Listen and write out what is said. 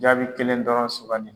Jaabi kelen dɔrɔn sugandi.